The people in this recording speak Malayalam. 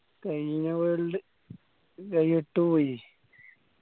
കയിഞ്ഞ world കൈവിട്ട് പോയി